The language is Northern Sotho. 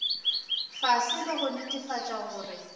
fase le go netefatša gore